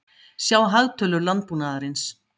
Sjá hagtölur landbúnaðarins.